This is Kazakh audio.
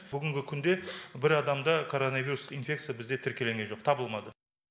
бүгінгі күнде бір адамда короновирус инфекция бізде тіркелінген жоқ табылмады